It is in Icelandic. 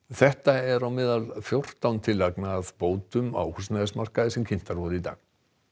þetta er á meðal fjórtán tillagna að bótum á húsnæðismarkaði sem kynntar voru í dag